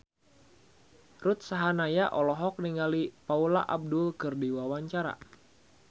Ruth Sahanaya olohok ningali Paula Abdul keur diwawancara